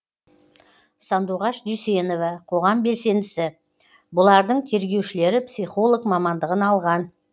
сандуғаш дүйсенова қоғам белсендісі бұлардың тергеушілері психолог мамандығын алған